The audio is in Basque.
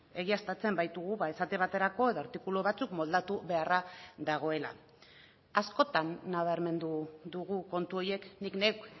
egiaztatzen baitugu esate baterako edo artikulu batzuk moldatu beharra dagoela askotan nabarmendu dugu kontu horiek nik neuk